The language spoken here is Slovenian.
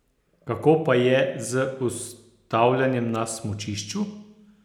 Kako pa je z ustavljanjem na smučišču?